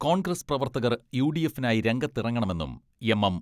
കോൺഗ്രസ് പ്രവർത്തകർ യു.ഡി.എഫിനായി രംഗത്തിറങ്ങണമെന്നും എം.എം.